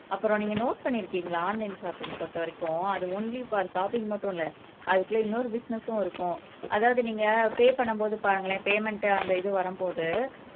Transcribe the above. அப்புறம் நீங்க நோட் பண்ணிருக்கிங்களா ஆன்லைன் ஷாப்பிங் பொருத்தவரைக்கும் அது ஒன்லி ஃபார் ஷாப்பிங் மட்டும் இல்ல அதுக்குள்ள இன்னொரு பிசினஸும் இருக்கும் அதாவது நீங்க பே பண்ணும்போது பாருங்களேன் பேமென்ட் அந்த இது வரும்போது